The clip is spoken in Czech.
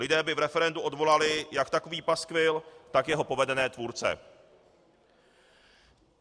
Lidé by v referendu odvolali jak takový paskvil, tak jeho povedené tvůrce.